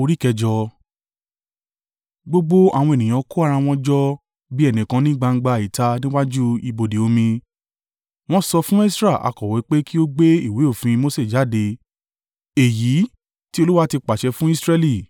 gbogbo àwọn ènìyàn kó ara wọn jọ bí ẹnìkan ní gbangba ìta níwájú ibodè omi. Wọ́n sọ fún Esra akọ̀wé pé kí ó gbé ìwé òfin Mose jáde, èyí tí Olúwa ti pàṣẹ fún Israẹli.